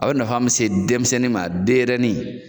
A bɛ na min se denmisɛnninni ma denɲɛnin